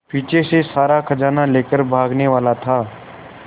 पीछे से सारा खजाना लेकर भागने वाला था